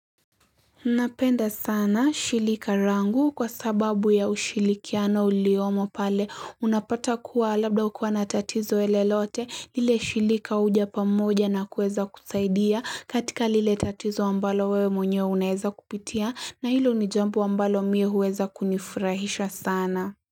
Unapenda sana shirika langu kwa sababu ya ushirikiano uliomo pale unapata kuwa labda hukua na tatizo lolote lile shirika huja pamoja na kuweza kusaidia katika lile tatizo ambalo wewe mwenye unaweza kupitia na hilo ni jambo ambalo mimi huweza kunifurahisha sana.